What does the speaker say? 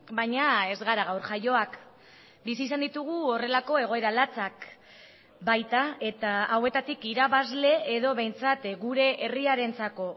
baina ez gara gaur jaioak bizi izan ditugu horrelako egoera latzak baita eta hauetatik irabazle edo behintzat gure herriarentzako